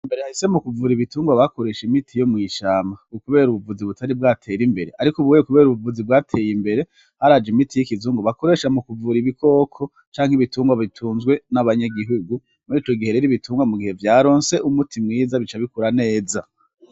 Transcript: Mbere hahise mu kuvura ibitungwa bakoresha imiti yo mw'ishamba, kubera ubuvuzi butari bwatere imbere. Ariko ubu kubera ubuvuzi bwateye imbere, haraje imiti y'ikizungu bakoresha mu kuvura ibikoko canke ibitungwa bitunzwe n'abanyagihugu. Murico gihe rero ibitungwa mugihe vyaronse umuti mwiza bica bikura neza.